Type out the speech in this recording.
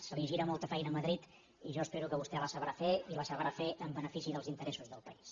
se li gira molta feina a madrid i jo espero que vostè la sabrà fer i la sabrà fer en benefici dels interessos del país